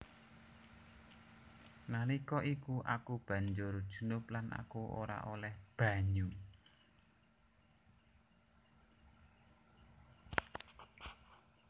Nalika iku aku banjur junub lan aku ora olèh banyu